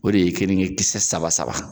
O de ye kenige kisɛ saba saba.